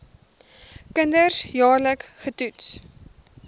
kinders jaarliks getoets